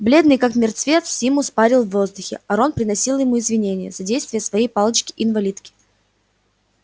бледный как мертвец симус парил в воздухе а рон приносил ему извинения за действия своей палочки-инвалидки